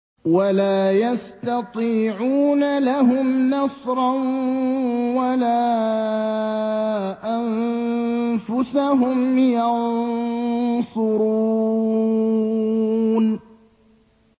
وَلَا يَسْتَطِيعُونَ لَهُمْ نَصْرًا وَلَا أَنفُسَهُمْ يَنصُرُونَ